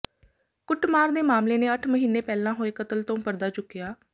ਕੁੱਟਮਾਰ ਦੇ ਮਾਮਲੇ ਨੇ ਅੱਠ ਮਹੀਨੇ ਪਹਿਲਾਂ ਹੋਏ ਕਤਲ ਤੋਂ ਪਰਦਾ ਚੁੱਕਿਆ